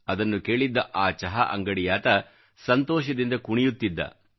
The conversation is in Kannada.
ಅದನ್ನು ಕೇಳಿದ್ದ ಆ ಚಹಾ ಅಂಗಡಿಯಾತ ಸಂತೋಷದಿಂದ ಕುಣಿಯುತ್ತಿದ್ದ